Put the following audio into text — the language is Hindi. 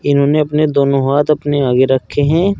इन्होंने अपने दोनों हाथ अपने आगे रखे हैं।